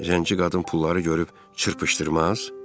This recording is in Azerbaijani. Zənci qadın pulları görüb çırpışdırmaz?